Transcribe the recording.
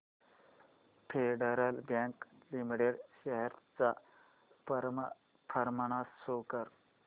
federal Bank limited shares चा performance show कर